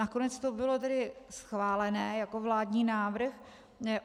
Nakonec to bylo tedy schválené jako vládní návrh.